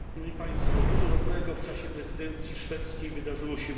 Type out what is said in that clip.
Dużo dobrego w czasie prezydencji szwedzkiej wydarzyło się w Unii.